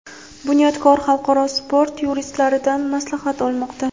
"Bunyodkor" xalqaro sport yuristlaridan maslahat olmoqda.